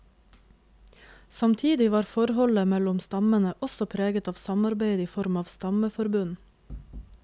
Samtidig var forholdet mellom stammene også preget av samarbeid i form av stammeforbund.